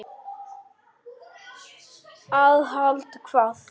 Aðhald hvað?